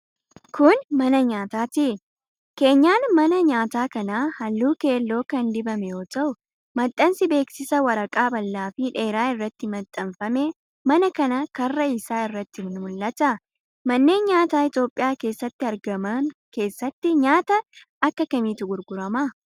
Kun, mana nyaataati. Keenyaan maa nyaataa kanaa, haalluu keelloo kan dibame yoo ta'u, maxxansi beeksisaa waraqaa bal'aa fi dheeraa irratti maxxanfame mana kana karra isaa irratti ni mul'ata. Manneen nyaataa Itoophiyaa keessatti argaman keessatti nyaata akka kamiitu gurgurama?